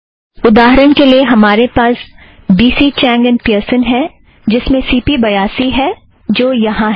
उदाहरण के लिए हमारे पास बी सी चैंग और पियर्सन है जिसमें सी पी बयासी है जो यहाँ है